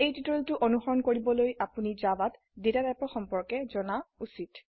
এই টিউটোৰিয়ালটি অনুসৰন কৰিবলৈ আপোনি জাভাত ডেটা টাইপৰ সম্পৰ্কে জানা উচিত